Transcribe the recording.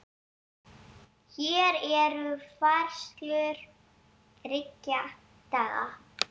Hér eru færslur þriggja daga.